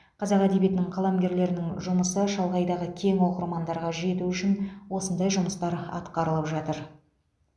қазақ әдебиетінің қаламгерлерінің жұмысы шалғайдағы кең оқырмандарға жету үшін осындай жұмыстар атқарылып жатыр